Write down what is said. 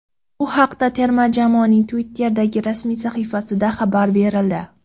Bu haqda terma jamoaning Twitter’dagi rasmiy sahifasida xabar berildi .